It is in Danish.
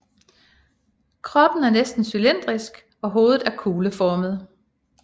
Kroppen er næsten cylindrisk og hovedet er kugleformet